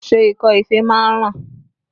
Ṣé ikọ́ ife máa ń ràn?